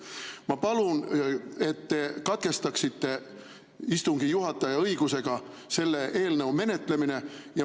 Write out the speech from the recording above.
Ma palun, et te katkestaksite istungi juhataja õigusega selle eelnõu menetlemise.